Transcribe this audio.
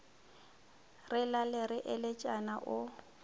re lale re eletšana o